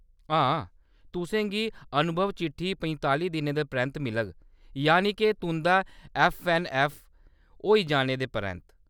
हां, तुसें गी अनुभव चिट्ठी पंताली दिनें दे परैंत्त मिलग, य़ानि-के तुंʼदा ऐफ्फ ऐन ऐफ्फ होई जाने दे परैंत्त।